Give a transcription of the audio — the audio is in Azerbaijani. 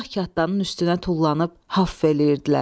Gah kaddarın üstünə tullanıb haf eləyirdilər.